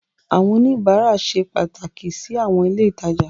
Àwọn oníbàárà ṣe pàtàkì sí àwọn ilé ìtajà.